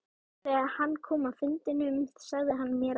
Þegar hann kom af fundinum sagði hann mér að